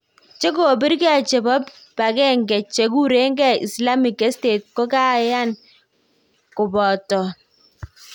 jekopirenge chepo pangenge chekurenge islamic state kokayan kopatan